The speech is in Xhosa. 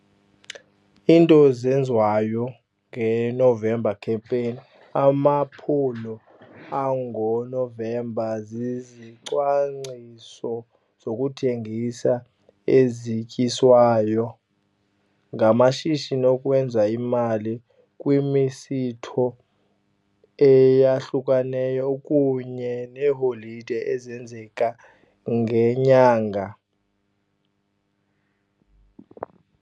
Iinto zenziwayo ngeNovember Campaign, amaphulo angoNovember zizicwangciso zokuthengisa ezityiswayo ngamashishini okwenza imali kwimisitho eyahlukeneyo kunye neeholide ezenzeka ngenyanga.